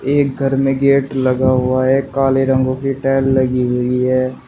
एक घर में गेट लगा हुआ है काले रंगों की टाइल लगी हुई है।